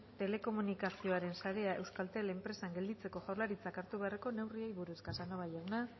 telekomunikazioaren sarea euskaltel enpresan gelditzeko jaurlaritzak hartu beharreko neurriei buruz casanova jauna